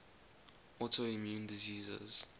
autoimmune diseases